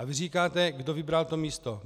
A vy říkáte - kdo vybral to místo.